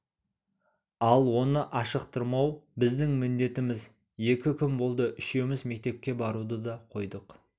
ал оны ашықтырмау біздің міндетіміз екі күн болды үшеуміз мектепке баруды да қойдық